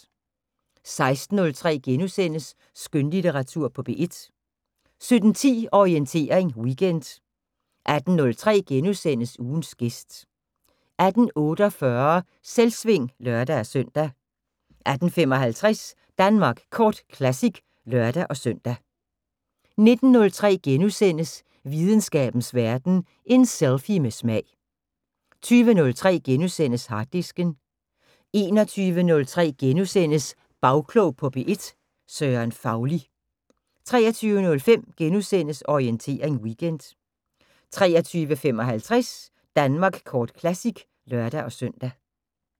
16:03: Skønlitteratur på P1 * 17:10: Orientering Weekend 18:03: Ugens gæst * 18:48: Selvsving (lør-søn) 18:55: Danmark Kort Classic (lør-søn) 19:03: Videnskabens Verden: En selfie med smag * 20:03: Harddisken * 21:03: Bagklog på P1: Søren Fauli * 23:05: Orientering Weekend * 23:55: Danmark Kort Classic (lør-søn)